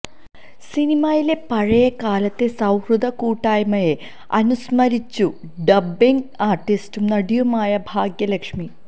സിനിമയിലെ പഴയകാലത്തെ സൌഹൃദ കൂട്ടായ്മയെ അനുസ്മരിച്ചു ഡബ്ബിംഗ് ആര്ട്ടിസ്റ്റും നടിയുമായ ഭാഗ്യ ലക്ഷ്മി